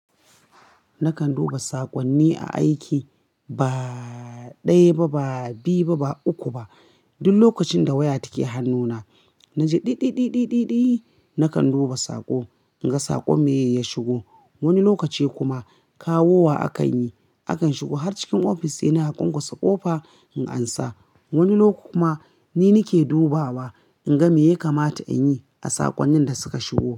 Nakan duba saƙonni a aiki ba ɗaya ba, ba biyu ba, ba uku ba. Duk lokacin da waya take hannuna, na ji di di di di di di, nakan duba saƙo in ga saƙo me ya shigo. Wani lokaci kuma kawowa a kan yi, a kan shigo har cikin ofis yana hakon ƙusa ƙofa in ansa. Wani lokaci kuma ni nake dubawa in ga me ya kamata in yi a saƙonnin da suka shigo.